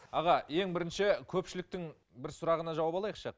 аға ең бірінші көпшіліктің бір сұрағына жауап алайықшы